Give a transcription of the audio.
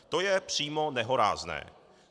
To je přímo nehorázné!